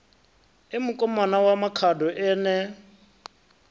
e mukomana wa makhado ene